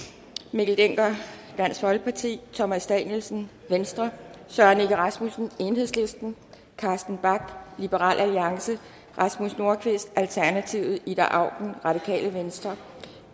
mikkel dencker thomas danielsen søren egge rasmussen carsten bach rasmus nordqvist ida auken